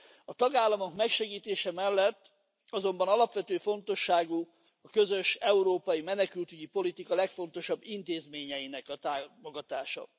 A tagállamok megsegítése mellett azonban alapvető fontosságú a közös európai menekültügyi politika legfontosabb intézményeinek a támogatása.